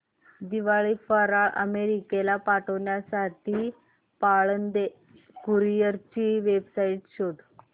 दिवाळी फराळ अमेरिकेला पाठविण्यासाठी पाळंदे कुरिअर ची वेबसाइट शोध